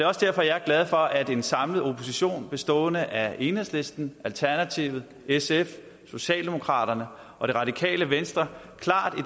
også derfor jeg er glad for at en samlet opposition bestående af enhedslisten alternativet sf socialdemokraterne og det radikale venstre klart